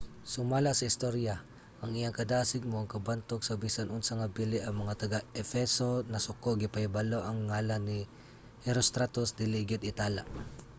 sumala sa istorya ang iyang kadasig mao ang kabantog sa bisan unsa nga bili. ang mga taga-efeso nasuko gipahibalo nga ang ngalan ni herostratus dili gayud itala